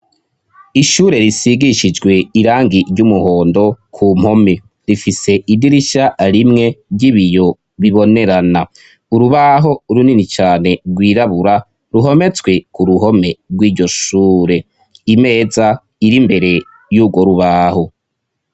Ishure risigishijwe irangi ry'umuhondo ku mpome. Rifise idirishya rimwe ry'ibiyo bibonerana urubaho runini cyane rwirabura ruhometswe ku ruhome rw'iryoshure imeza iri mbere y'ubwo rubaho.